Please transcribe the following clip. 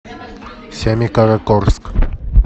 семикаракорск